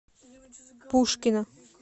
пушкино